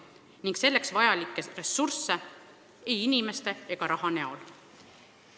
Volinikul pole selleks vajalikku ressurssi ei inimeste ega raha näol.